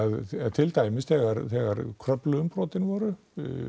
til dæmis þegar þegar Kröflu umbrotin voru